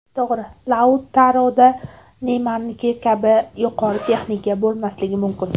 To‘g‘ri, Lautaroda Neymarniki kabi yuqori texnika bo‘lmasligi mumkin.